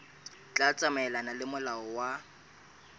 tla tsamaelana le molao wa